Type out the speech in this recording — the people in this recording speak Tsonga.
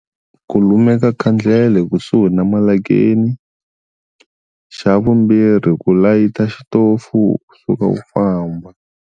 Ku lumeka khandlele kusuhi na malakeni, xa vumbirhi ku layita xitofu u suka u famba.